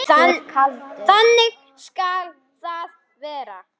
Bækur og blöð í hillum.